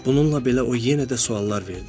Bununla belə o yenə də suallar verdi.